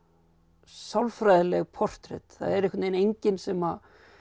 sálfræðileg portrett það er enginn sem